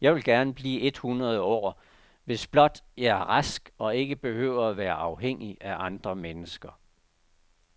Jeg vil gerne blive et hundrede år, hvis blot jeg er rask og ikke behøver at være afhængig af andre mennesker.